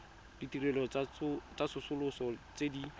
ditirelo tsa tsosoloso tse di